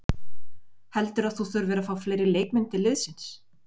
Heldurðu að þú þurfir að fá fleiri leikmenn til liðsins?